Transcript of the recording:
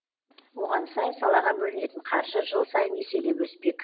оған сай салаға бөлінетін қаржы жыл сайын еселеп өспек